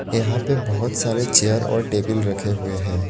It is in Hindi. यहां पे बहुत सारे चेयर और टेबल रखे हुए हैं।